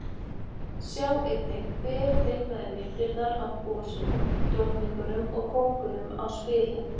Sjá einnig Hver teiknaði myndirnar af gosunum, drottningunum og kóngunum á spilin?